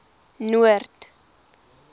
noord